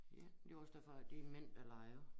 Ja det var også derfor at det er mænd der leger